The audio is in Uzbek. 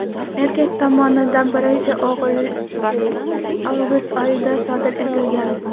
Erkak tomonidan birinchi o‘g‘rilik avgust oyida sodir etilgan.